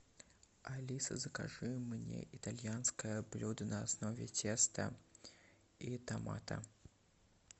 алиса закажи мне итальянское блюдо на основе теста и томата